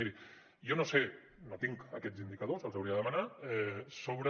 miri jo no ho sé no tinc aquests indicadors els hauria de demanar sobre